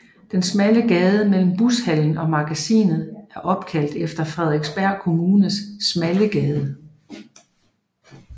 Den smalle gade mellem Bushallen og Magasinet er opkaldt efter Frederiksberg Kommunes Smallegade